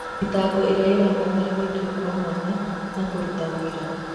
Thitango iria irabatara gũĩkũwo kwa mwanya na kũruta ũira.